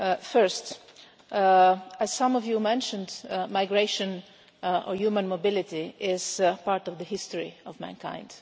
First, as some of you mentioned, migration or human mobility is part of the history of mankind.